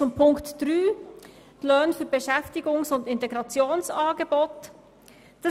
Zu Punkt 3 betreffend die Löhne für Beschäftigungs- und Integrationsangebote: